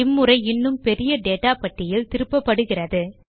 இம்முறை இன்னும் பெரிய டேட்டா பட்டியல் திருப்பப்படுகிறது